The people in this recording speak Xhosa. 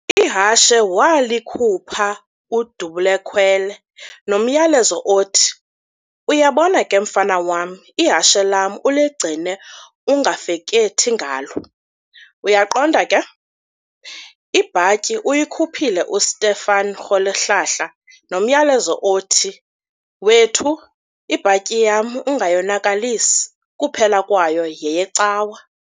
Ihashe waalikhupha uDubul'ekhwele nomyalezo othi, - "Yabona ke mfana wam ihashe lam uligcine ungafekethi ngalo, uyaqonda ke? Ibhatyi uyikhuphile u"Stephen Rholihlahla" nomyalezo othi, - "Wethu, ibhatyi yam ungayonakalisi, kuphela kwayo yeyeCawa."